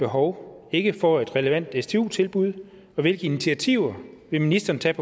behov ikke får et relevant stu tilbud og hvilke initiativer vil ministeren tage